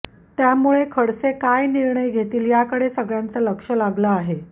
त्यामुळं खडसे काय निर्णय घेतील याकडे सगळ्यांचं लक्ष लगालं आहे